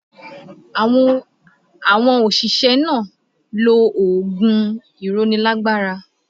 Àwọn òṣìṣẹ́ náà lo oògùn ìrónilágbára